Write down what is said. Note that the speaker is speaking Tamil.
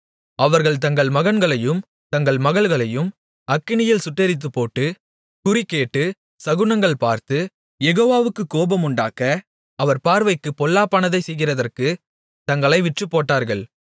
அவர்கள் தங்கள் மகன்களையும் தங்கள் மகள்களையும் அக்கினியில் சுட்டெரித்துப்போட்டு குறிகேட்டு சகுனங்கள் பார்த்து யெகோவாவுக்குக் கோபமுண்டாக்க அவர் பார்வைக்குப் பொல்லாப்பானதைச் செய்கிறதற்குத் தங்களை விற்றுப்போட்டார்கள்